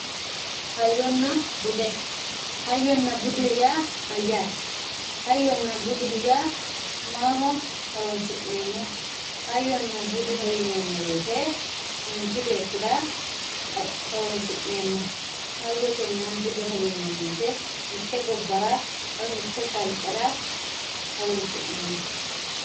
Hayina bude hayona budeho ya mayate hayona buduho ya maho hornsinemoho hayona budeho yinemo woyite manchi betira horonsinemoho hayotena budeho yinemo woyite mitte gobara woy mite qalikera horonsinemoho